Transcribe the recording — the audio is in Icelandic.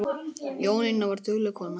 Jónína var dugleg kona.